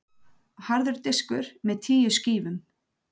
Harður diskur með tíu skífum.